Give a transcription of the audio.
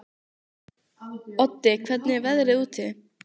Oddi, hvernig er veðrið úti?